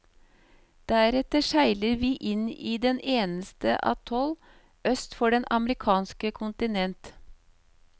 Deretter seiler vi inn i den eneste atoll øst for det amerikanske kontinent.